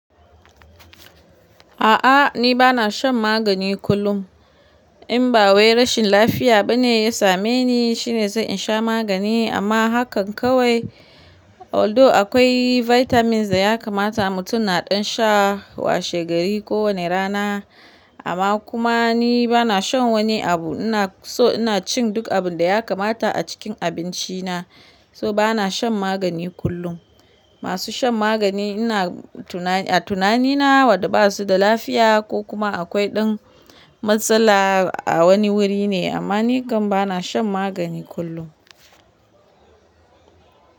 A'a ni bana shan magani kullum, in ba wai rashin lafiya bane ya same ni shine zan sha magani amma hakan kawai. Although akwai vitamins da ya kamata mutum naɗin sha washe gari kowane rana. Amma kuma ni bana shan wani abu. Na so ina cin duk abun da ya kamata a cikin abinci na. So bana shan magani kullum. Masu shan magani ina tunani a tunani na waɗanda basu da lafiya ko kuma akwai ɗan matsala a wani wuri ne. Amma ni kam bana shan magani kullum.